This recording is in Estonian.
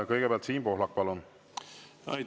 Kõigepealt Siim Pohlak, palun!